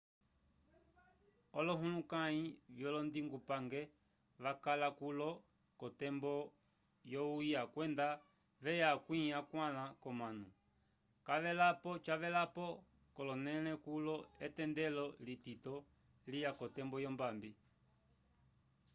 olohulukãyi vyolondingupange vakala kulo k'otembo yohuya kwenda veya akwĩ akwãla k'omanu cavelapo k'olonẽle kulo etendelo litito liya k'otembo yombambi